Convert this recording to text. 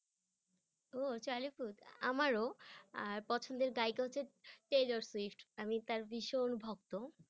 ও Charlie Puth আমারও আর পছন্দের গায়িকা হচ্ছে টেইলর সুইফ্ট আমি তার ভীষণ ভক্ত।